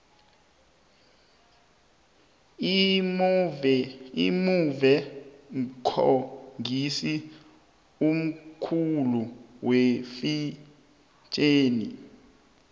imove mkhangisi omkhulu wefetjheni